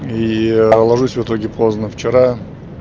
и ложусь в итоге поздно вчера